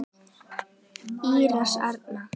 Íris Erna.